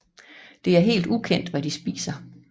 Det er helt ukendt hvad de spiser